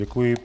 Děkuji.